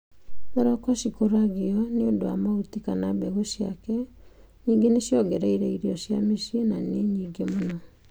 Thoroko cikũragio nĩ ũndũ wa mahuti kana mbegu ciake. Nyingĩ nĩ ciongereire irio cia mĩciĩ na nĩ nyingĩ mũno.